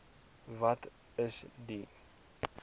wat is die